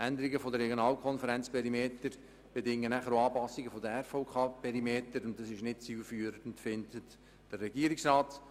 Änderungen der Regionalkonferenzperimeter bedingen danach Anpassungen der RVK-Perimeter, was der Regierungsrat nicht als zielführend erachtet.